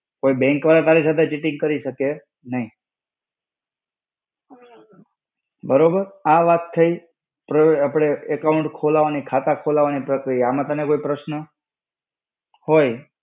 કોઈ bank વાળા તારી સાથે cheating કરી શકે નઈ. બરોબર. આ વાત થઇ આપળે account ખોલાવાની, ખાતા ખોલાવાની. આમ તને કોઈ પ્રશ્ન હોય,